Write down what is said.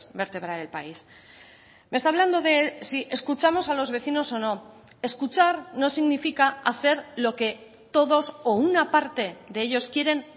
vertebrar el país me está hablando de si escuchamos a los vecinos o no escuchar no significa hacer lo que todos o una parte de ellos quieren